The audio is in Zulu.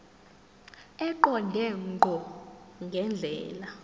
eqonde ngqo ngendlela